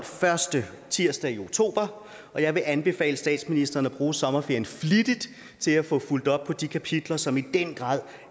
første tirsdag i oktober og jeg vil anbefale statsministeren at bruge sommerferien flittigt til at få fulgt op på de kapitler som i den grad